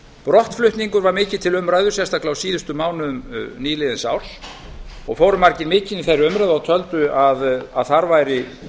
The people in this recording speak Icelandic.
brottflutningur var mikið til umræðu sérstaklega á síðustu mánuðum nýliðins árs og fóru margir mikinn í þeirri umræðu og töldu að þar væri